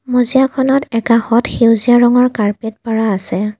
মজিয়াখনত একাষত সেউজীয়া ৰঙৰ কাৰ্পেট পাৰা আছে।